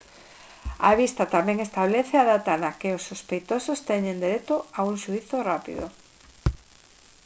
a vista tamén establece a data na que os sospeitosos teñen dereito a un xuízo rápido